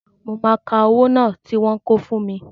Mo máa ka owó náà tí wọ́n kó fún mi